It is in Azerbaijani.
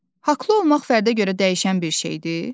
Haqqlı olmaq fərdə görə dəyişən bir şeydir?